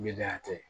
Ɲɛdonya tɛ